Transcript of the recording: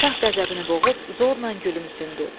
Şah qəzəbini boğub zorla gülümsündü.